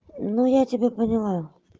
ну я тебя поняла